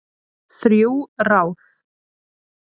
Þrjú ráð